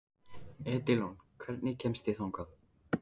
Edilon, hvernig kemst ég þangað?